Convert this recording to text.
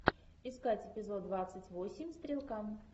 искать эпизод двадцать восемь стрелка